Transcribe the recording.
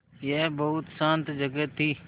यह बहुत शान्त जगह थी